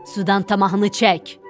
sudan tamahını çək.